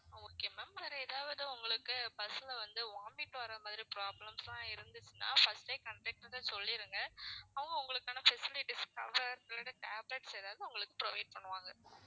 okay ma'am வேற ஏதாவது உங்களுக்கு bus ல வந்து vomit வர்ற மாதிரி problems எல்லாம் இருந்துச்சுன்னா first டே conductor கிட்ட சொல்லிருங்க அவங்க உங்களுக்கான facilities க்காக உங்களுக்கு tablets ஏதாவது உங்களுக்கு provide பண்ணுவாங்க.